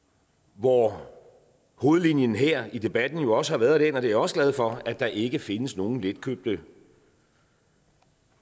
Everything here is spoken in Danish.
hvor hovedlinjen her i debatten jo også har været den og det er jeg også glad for at der ikke findes nogen letkøbte